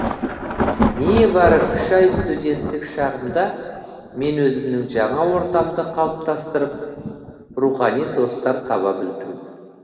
небәрі үш ай студенттік шағымда мен өзімнің жаңа ортамды қалыптастырып рухани достар таба білдім